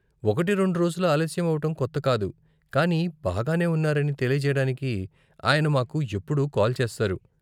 ఒకటి రెండు రోజులు ఆలస్యం అవ్వటం కొత్త కాదు, కానీ బాగానే ఉన్నారని తెలియజేయడానికి ఆయన మాకు ఎప్పుడూ కాల్ చేస్తారు.